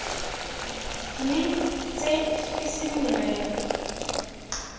mme tse e seng merero